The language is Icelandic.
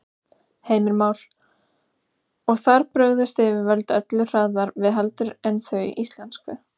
Heimir Már: Og þar brugðust yfirvöld öllu hraðar við heldur en þau íslensku?